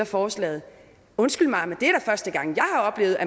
forslaget undskyld mig